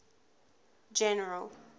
general